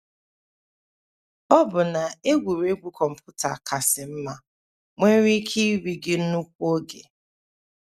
Ọbụna egwuregwu kọmputa kasị mma nwere ike iri gị nnukwu oge.